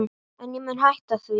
En ég mun hætta því.